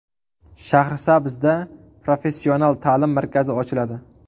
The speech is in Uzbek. Shahrisabzda professional ta’lim markazi ochiladi.